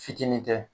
Fitinin tɛ